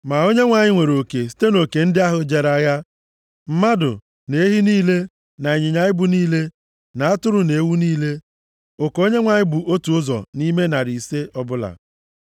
Ma Onyenwe anyị nwere oke site nʼoke ndị ahụ jere agha: mmadụ, na ehi niile, na ịnyịnya ibu niile, na atụrụ na ewu niile. Oke Onyenwe anyị bụ otu ụzọ nʼime narị ise ọbụla.